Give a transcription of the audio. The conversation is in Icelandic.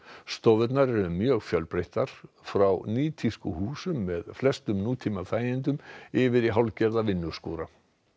stofurnar eru mjög fjölbreyttar frá nýtískuhúsum með flestum nútímaþægindum yfir í hálfgerða vinnuskúra